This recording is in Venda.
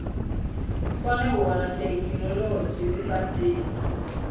kone u wana theikinolodzhi lifhasini